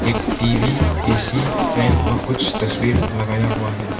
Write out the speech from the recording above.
एक TV AC fan और कुछ तस्वीर लगाया हुआ है।